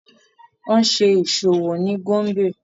Wọn ṣe iṣowo ni Gombe